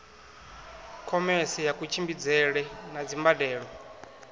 khomese ya kutshimbidzele na dzimbandelo